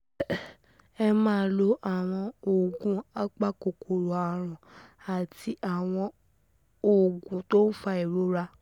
Ẹ máa lo àwọn oògùn apakòkòrò àrùn àti àwọn oògùn tó ń fa ìrora